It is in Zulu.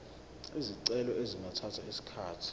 izicelo zingathatha isikhathi